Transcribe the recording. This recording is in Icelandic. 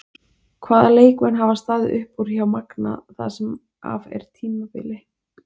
Hvaða leikmenn hafa staðið upp úr hjá Magna það sem af er tímabili?